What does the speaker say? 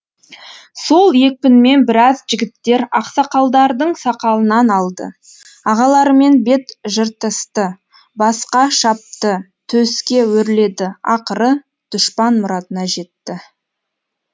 сол екпінмен біраз жігіттер ақсақалдардың сақалынан алды ағаларымен бет жыртысты басқа шапты төске өрледі ақыры дұшпан мұратына жетті